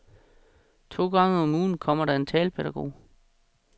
To gange om ugen kommer der en talepædagog.